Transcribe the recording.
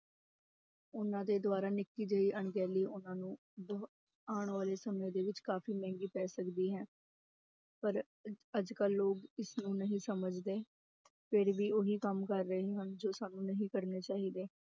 ਉਹਨਾਂ ਦੇ ਦੁਆਰਾ ਨਿੱਕੀ ਜਿਹੀ ਅਣਗਹਿਲੀ ਉਹਨਾਂ ਨੂੰ ਬਹੁ ਆਉਣ ਵਾਲੇ ਸਮੇਂ ਦੇ ਵਿੱਚ ਕਾਫ਼ੀ ਮਹਿੰਗੀ ਪੈ ਸਕਦੀ ਹੈ ਪਰ ਅੱਜ ਕੱਲ੍ਹ ਲੋਕ ਇਸਨੂੰ ਨਹੀਂ ਸਮਝਦੇ, ਫਿਰ ਵੀ ਉਹੀ ਕੰਮ ਕਰ ਰਹੇ ਹਨ ਜੋ ਸਾਨੂੰ ਨਹੀਂ ਕਰਨੇ ਚਾਹੀਦੇ।